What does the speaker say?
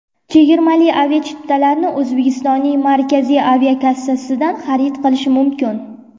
Chegirmali aviachiptalarni O‘zbekistonning Markaziy aviakassasidan xarid qilish mumkin.